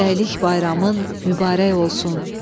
Həmrəylik bayramın mübarək olsun.